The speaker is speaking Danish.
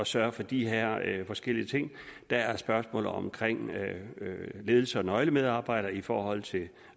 sørge for de her forskellige ting der er spørgsmålet om ledelse og nøglemedarbejdere i forhold til